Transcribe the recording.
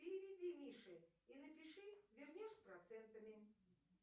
переведи мише и напиши вернешь с процентами